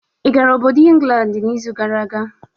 I gara obodo Ingland n'izu gara aga?